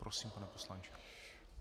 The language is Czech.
Prosím, pane poslanče.